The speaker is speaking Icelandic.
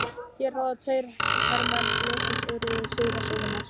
Hér ráða tveir hermenn ljóssins örlögum sigraðs óvinar.